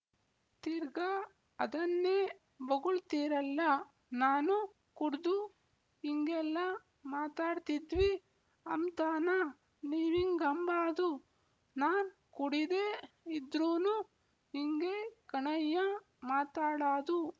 ತಿರ್ಗಾ ಅದನ್ನೇ ಬೊಗುಳ್ತೀರಲ್ಲ ನಾನು ಕುಡ್ದು ಇಂಗೆಲ್ಲ ಮಾತಾಡ್ತಿದ್ವಿ ಅಂಬ್ತಾನಾ ನೀವಿಂಗಂಬಾದು ನಾನ್ ಕುಡೀದೇ ಇದ್ರೂನು ಇಂಗೇ ಕಣಯ್ಯ ಮಾತಾಡಾದು